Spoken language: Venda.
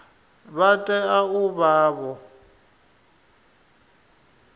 vha tea u vha vho